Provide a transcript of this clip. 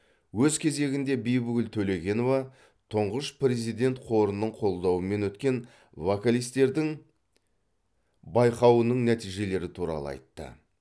өз кезегінде бибігүл төлегенова тұңғыш президент қорының қолдауымен өткен вокалистердің байқауының нәтижелері туралы айтты